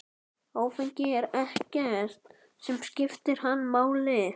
Áfengi er ekkert sem skiptir hann máli.